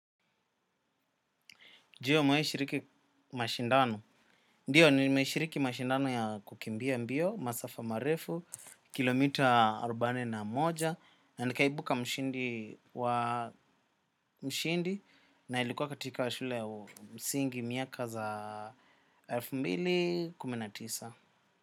Je umewai shiriki mashindano. Ndiyo nimeshiriki mashindano ya kukimbia mbio, masafa marefu, kilomita rubane na moja, na nikaibuka mshindi wa mshindi na ilikuwa katika wa shule ya msingi miaka za alfumbili kumi na tisa.